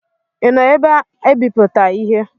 ị nọ ebe a ibipụta ihe?